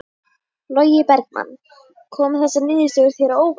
Logi Bergmann: Koma þessar niðurstöður þér á óvart?